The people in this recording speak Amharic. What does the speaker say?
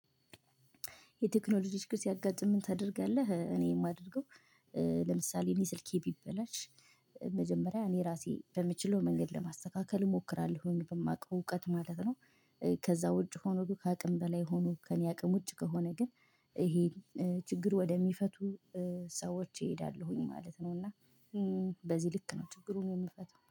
የቴክኖሎጂዎች ችግር ሲያጋጥምህ ምን ታደርጋለህ? እኔ የማደርገው ለምሳሌ እኔ ስልኬ ቢበላሽ መጀመሪያ እኔ ራሴ በምችለው መንገድ ለማስተካከል እሞክራለሁ፣ በማውቀው እውቀት ማለት ነው። ከዛ ውጭ ሆኖ ከአቅም በላይ ሆኖ ከእኔ አቅም ውጭ ከሆነ ግን ይሄ ችግር ወደሚፈቱ ሰዎች እሄዳለሁኝ ማለት ነው። እና በዚህ ልክ ነው ችግሩን የሚፈቱ